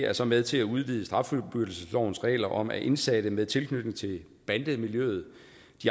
er så med til at udvide straffuldbyrdelseslovens regler om at indsatte med tilknytning til bandemiljøet